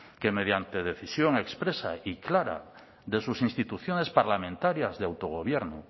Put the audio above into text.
que mediante decisión expresa y clara de sus instituciones parlamentarias de autogobierno